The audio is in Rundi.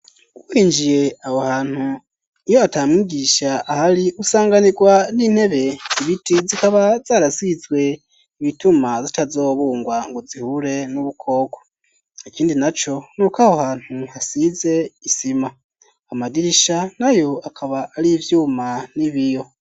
Winjiye abo hantu iyo ata mwigisha ahari usanganirwa n'intebe ibiti zikaba zarasizwe ibituma zitazobungwa ngo zihure n'ubukobwa ikindi na co n'uko aho hantu hasize isima amadirisha nayo akaba ari ivyuma n'ibiyo.